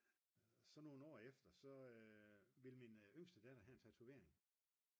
så nogle år efter så ville min yngste datter have en tatovering